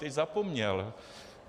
Teď zapomněl.